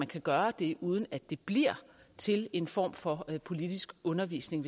kan gøre det uden at det bliver til en form for politisk undervisning